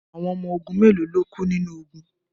Awon omo ogun melo lo ku ninu ogun